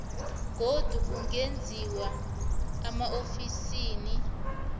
godu kungenziwa emaofisini